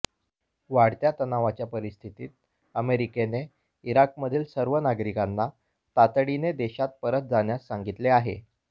वाढत्या तणावाच्या परिस्थितीत अमेरिकेने इराकमधील सर्व नागरिकांना तातडीने देशात परत जाण्यास सांगितले आहे